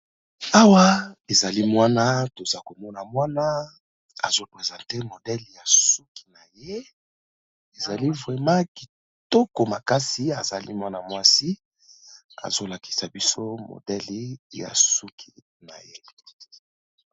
Awa ezali mwana toza komona mwana azo presente modele ya suki na ye, ezali vraiment kitoko makasi. Azali mwana mwasi azo lakisa biso modele ya suki na ye.